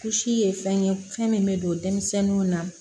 Kulusi ye fɛn ye fɛn min bɛ don denmisɛnninw na